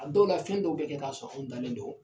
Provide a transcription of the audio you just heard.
A don ka fɛn dɔw bɛ kɛ k'a sɔrɔ anw dalen don